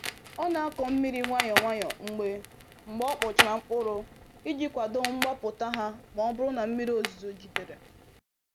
O na-akọ mmiri nwayọ nwayọ mgbe mgbe ọ kpọchara mkpụrụ iji kwado mgbapụta ha ma ọ bụrụ na mmiri ozuzo jidere